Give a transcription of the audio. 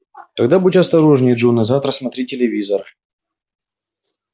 тогда будь осторожнее джон а завтра смотри телевизор